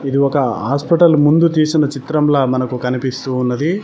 ఇది ఒక హాస్పిటల్ ముందు తీసిన చిత్రంలా మనకి కనిపిస్తూ ఉన్నది.